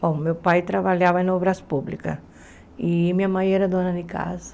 Bom, meu pai trabalhava em obras públicas e minha mãe era dona de casa.